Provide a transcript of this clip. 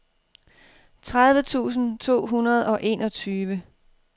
tredive tusind to hundrede og enogtyve